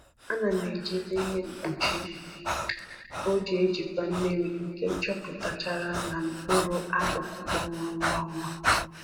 Ana m ejizi ihe mkpuchi ojii ejikwa mmiri ka chọpụtachara na mkpụrụ akụkụ kpọnwụrụ ngwa ngwa